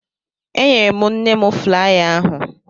Enyere m nne m flaya ahụ